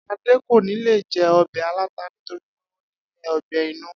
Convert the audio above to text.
Adé kò ní lè je̩ o̩bè̩ aláta nítorí pé ó ní o̩gbé̩ inú